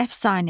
Əfsanə.